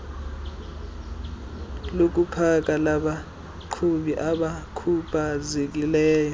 lokupaka labaqhubi abakhubazekileyo